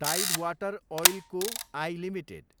tied water oil co, I, limited